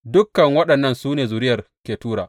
Dukan waɗannan su ne zuriyar Ketura.